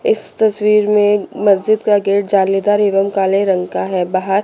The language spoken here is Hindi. इस तस्वीर में मस्जिद का गेट जालीदार एवं काले रंग का है बाहर--